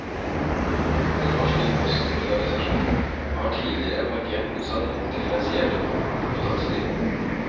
Den norske postorganisasjon har tidligere markert motstand mot differensierte portotakster.